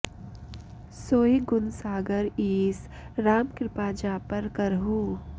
सोइ गुन सागर ईस राम कृपा जा पर करहु